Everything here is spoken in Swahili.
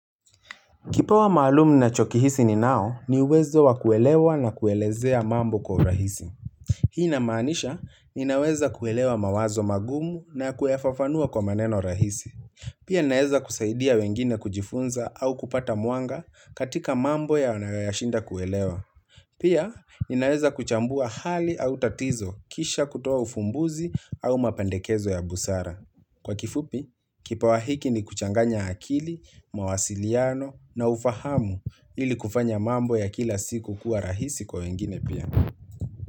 Kipawa maalumu nachokihisi ni nao ni uwezo wa kuelewa na kuelezea mambo kwa rahisi. Hii na maanisha, ninaweza kuelewa mawazo magumu na kuyafafanua kwa maneno rahisi. Pia ninaweza kusaidia wengine kujifunza au kupata mwanga katika mambo ya wanayoyashinda kuelewa. Pia ninaweza kuchambua hali au tatizo kisha kutoa ufumbuzi au mapendekezo ya busara. Kwa kifupi, kipawa hiki ni kuchanganya akili, mawasiliano na ufahamu ili kufanya mambo ya kila siku kuwa rahisi kwa wengine pia.